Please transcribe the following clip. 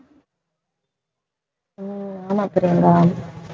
உம் ஆமா பிரியங்கா